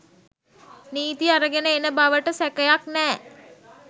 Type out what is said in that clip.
නීති අරගෙන එන බවට සැකයක් නෑ